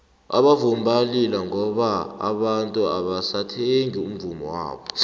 abavumi bayalila ngoba abantu abasathengi umvummo wabo